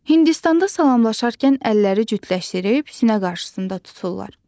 Hindistanda salamlaşarkən əlləri cütləşdirib sinə qarşısında tuturlar.